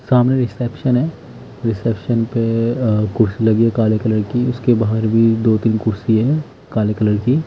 सामने रिसेप्शन है रिसेप्शन पे कुर्सी लगी है काले कलर की उसके बाहर भी दो-तीन कुर्सी है काले कलर की।